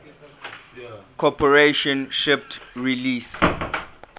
corporation shipped release